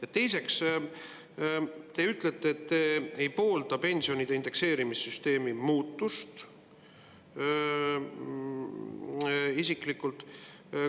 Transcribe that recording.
Ja teiseks, te ütlesite, et te isiklikult ei poolda pensionide indekseerimise süsteemi muutmist.